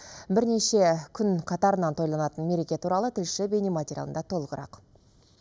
бірнеше күн қатарынан тойланатын мереке туралы тілші бейнематериалында толығырақ